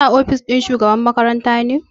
Kana ofis ɗin shugaba makaranta ne?